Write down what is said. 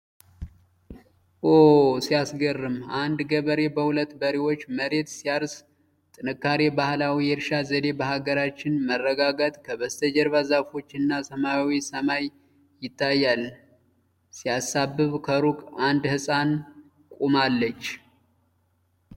ኦ! ሲያስገርም! አንድ ገበሬ በሁለት በሬዎች መሬት ሲያርስ። ጥንካሬ! ባህላዊ የእርሻ ዘዴ በአገራችን። መረጋጋት። ከበስተጀርባ ዛፎችና ሰማያዊ ሰማይ ይታያሉ። ሲያሳስብ! ከሩቅ አንድ ሕፃን ቆማለች።